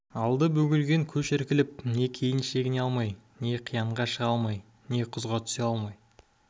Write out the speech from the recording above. алды бөгелген көш іркіліп не кейін шегіне алмай не қиянға шыға алмай не құзға түсе алмай